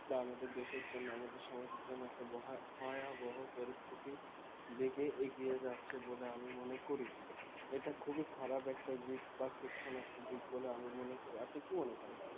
বা আমাদের দেশের জন্য আমাদের সমাজের জন্য একটা বহা~ ভয়াবহ পরিস্থিতি দিকে এগিয়ে যাচ্ছে বলে আমি মনে করি এটা খুবই খারাপ একটা দিক বা section একটা দিক বলে আমি মনে করি আপনি কি মনে করেন